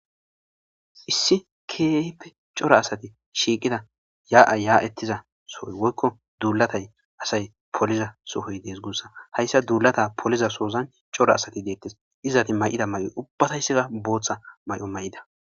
Issi keaippe cora asati shiiqida yaa7a yaa ettiza sohoy woykko duulatay asay poliza sohoy dees guussa hayssa duulata poliza soozan cora asati deettes izati may7ida may7o ubbataysseka booththa may7o may7ida